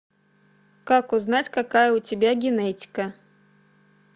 как узнать какая у тебя генетика